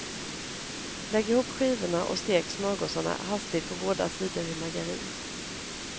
Lägg ihop skivorna och stek smörgåsarna hastigt på båda sidor i margarin.